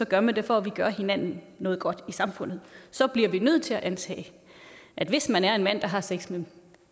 gør man det for at ville gøre hinanden noget godt i samfundet så bliver vi nødt til at antage at hvis man er mand der har sex med